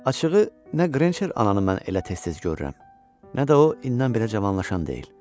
Açığı nə Qrençer ananı mən elə tez-tez görürəm, nə də o indən belə cavanlaşan deyil.